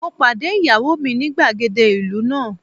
Mo pàdé ìyàwó mi ní gbàgede ìlú náà.